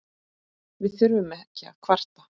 Við þurfum ekki að kvarta.